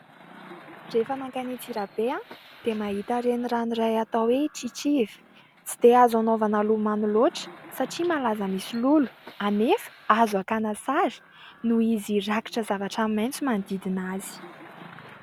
Rehefa makany Antsirabe dia mahita renirano iray atao hoe Tritriva. Tsy dia azo anaovana lomano loatra satria malaza misy lolo, anefa azo akana sary noho izy rakotra zavatra maitso manodidina azy.